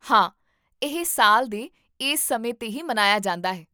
ਹਾਂ, ਇਹ ਸਾਲ ਦੇ ਇਸ ਸਮੇਂ 'ਤੇ ਹੀ ਮਨਾਇਆ ਜਾਂਦਾ ਹੈ